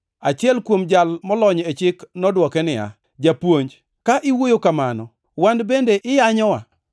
Achiel kuom jal molony e chik nodwoke niya, “Japuonj, ka iwuoyo kamano wan bende iyanyowa.”